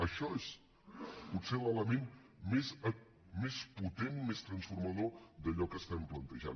això és potser l’element més potent més transformador d’allò que estem plantejant